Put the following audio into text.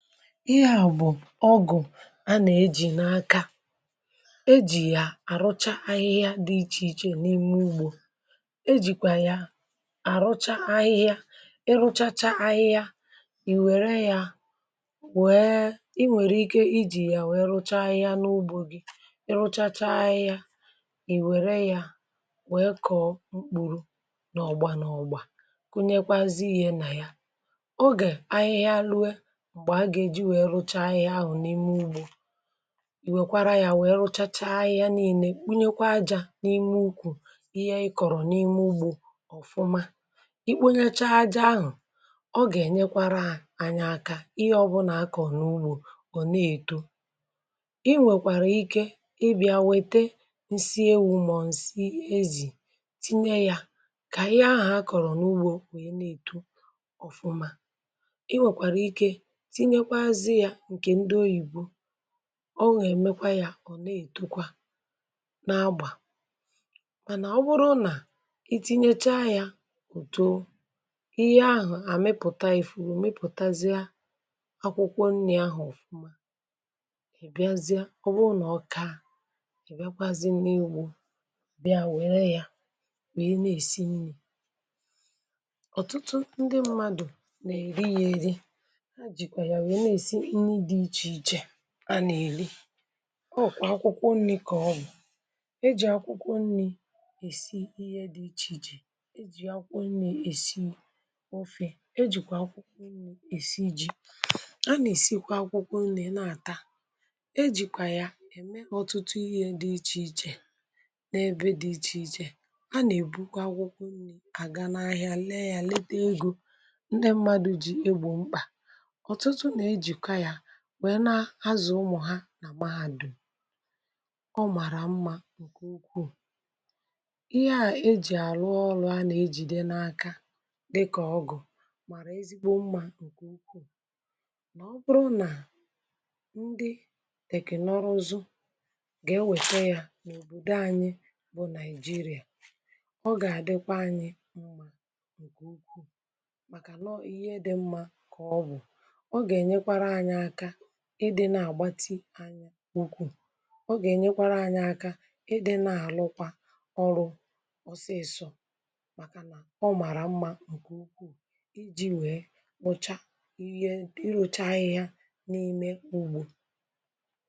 ihe à bụ̀ ọgụ̀ a nà-ejì n’aka ejì ya àrụcha ahịhịa dị ichè ichè n’ime ugbȯ ejìkwà ya àrụcha ahịhịa ịrụchacha ahịhịa ì wère ya wee i nwèrè ike ijì ya wèe rụcha ahịhịa n’ugbȯ gị ịrụchacha ahịhịa ì wère ya wee kọ̀ọ mkpùrù n’ọ̀gba n’ọ̀gba kụnyekwazị ihė nà ya ọ ge ahihia rụe gbe aga eji wee rụcha ahihia ahụ n’ime ụgbọ iwekwara ya wee rụchachaa ahihia niilė kpunyekwa ajȧ n’ime ukwù ihe ị kọ̀rọ̀ n’ime ụgbọ̇ ọ̀fụma i kpunyechaa aja ahụ̀ ọ gà-ènyekwara ànyị aka ihe ọbụlà a kọ̀ọ n’ugbȯ ọ na-èto i nwèkwàrà ike ịbịȧ wète ǹsị ewụ mọ̀ ǹsị ezì tinye ya kà ihe ahụ̀ a kọ̀rọ̀ n’ugbȯ wee na-èto ọ̀fụma inwekwara ike tinyekwazi ya nke di ọyibọ ọ gà-èmekwa yȧ ọ̀ na-ètọkwa na-agbà mànà ọ bụrụ nà i tinyecha yȧ òto ihe ahụ̀ àmepụ̀ta ìfuru mipụ̀tazie akwụkwọ nri̇ ahụ̀ ọ̀fụma ibiazịe ọ bụrụ nà ọka ibiakwazi na-ụgbọ bịa wère yȧ wèe na-èsi nri ọ̀tụtụ ndị mmadụ̀ nà-èri ya èri ha jikwa wee na èsi nni dị ichè ichè a na eli ọ kwa akwụkwọ nri̇ ka ọbụ eji akwụkwọ nri esi ihe di iche iche eji akwụkwọ nni èsi ofė ejìkwà akwụkwọ nri̇ èsi ji̇ a nà-èsikwa akwụkwọ nri̇ na-àta ejìkwà ya ème ọtụtụ ihė dị ichè ichè n’ebe dị ichè ichè a nà-èbukwa akwụkwọ nri̇ aga n’ahịa lee ya leta egȯ ndi mmadụ̀ jì egbò mkpà ọtụtụ na ejikwa ya wee na azụ̀ ụmụ̀ ha nà maghadụm ọ màrà mmȧ ǹkè ukwuù ihe à ejì àrụ ọrụ̇ a nà ejìde n’aka dịkà ọgụ̀ màrà ezigbo mmȧ ǹkè ukwuù nà ọ bụrụ nà ndị tèkìnọrụ ụzụ̇ gà e wète yȧ n’òbòdò anyị bụ̇ naịjirịà ọ gà àdịkwa anyị mmȧ ǹkè ukwuù màkà nọ ihe dị mmȧ kà ọ bụ̀ ọ ga enyekwara anya aka ịdị na-agbatị anya n’ukwu ọ ga-enyekwara anyị aka ịdị na-alụkwa ọrụ ọsịịsọ maka na ọ mara mma nke ukwuu iji wee mụcha ihe ịrụcha ahịhịa n’ime ugbȯ.